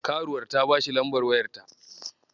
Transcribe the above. Karuwar ta bashi lambar wayarta.